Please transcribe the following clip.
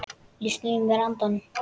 Ég sný mér undan.